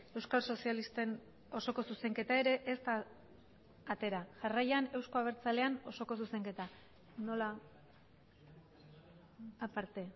euskal sozialisten osoko zuzenketa ere ez da atera jarraian euzko abertzaleen osoko zuzenketa nola aparte